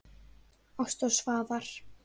Ásta og Svafar.